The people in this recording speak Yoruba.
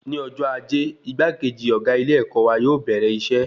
Ní ọjọ́ ajé, igbakeji ọgá ilé-èkó wa yóò bẹrẹ iṣẹ